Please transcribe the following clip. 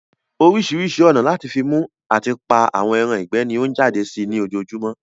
Orísirísi ònà lati fi mú ati pa àwọn ẹran ìgbẹ́ ni ọ n jáde sí ní ojojúmọ́